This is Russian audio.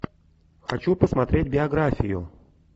хочу посмотреть биографию